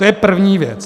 To je první věc.